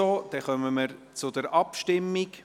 Wir kommen somit zur Abstimmung.